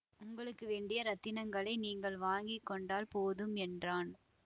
உங்களுக்கு வேண்டிய இரத்தினங்களை நீங்கள் வாங்கி கொண்டால் போதும் என்றான்